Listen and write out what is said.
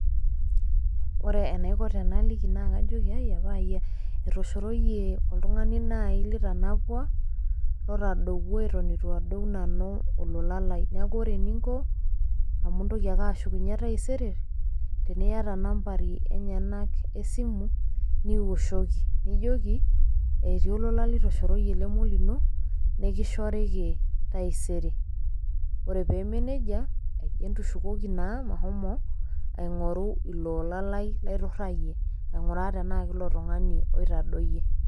Ore enaiko tenaliki naakajokiai apaaya , etoshorooyie oltung'ani nai litanapua lotadowuo eton eitu adou nanu olola lai neaku ore eninko amu intoki ake ashukunye taisere teniata nambari enyenak esimu niwoshoki nijoki etii olola litoshoroyie lemeolino nekishoriki taisere. Ore peemeneija ai entushukoki naa mashomo aing'oru iloola lai laitorrayie aing'uraa tenaake ilo tung'ani oitadoyie.